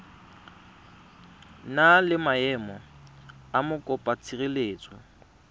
na le maemo a mokopatshireletso